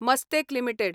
Mastek limited